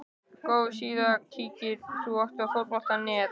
Góð síða Kíkir þú oft á Fótbolti.net?